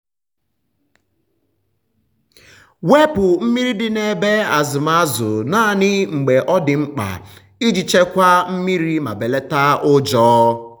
wepu mmiri dị n’ebe azụm azụ naanị mgbe ọ dị mkpa iji chekwaa mmiri ma belata ụjọ.